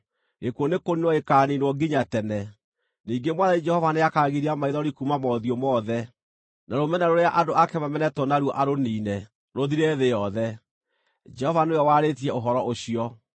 gĩkuũ nĩkũniinwo gĩkaaniinwo nginya tene. Ningĩ Mwathani Jehova nĩakagiria maithori, kuuma mothiũ mothe, na rũmena rũrĩa andũ ake mamenetwo na ruo arũniine, rũthire thĩ yothe. Jehova nĩwe warĩtie ũhoro ũcio.